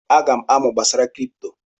Aga m amụ gbasara kripto.